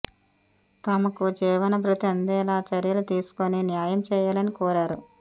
తమకు జీవన భృతి అందేలా చర్యలు తీసుకొని న్యాయం చేయాలని కోరారు